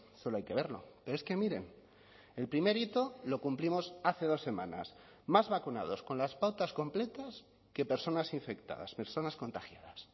solo hay que verlo pero es que miren el primer hito lo cumplimos hace dos semanas más vacunados con las pautas completas que personas infectadas personas contagiadas